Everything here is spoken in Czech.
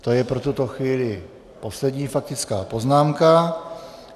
To je pro tuto chvíli poslední faktická poznámka.